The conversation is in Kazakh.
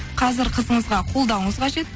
қазір қызыңызға қолдауыңыз қажет